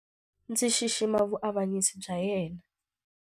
Ndzi xixima vuavanyisi bya yena.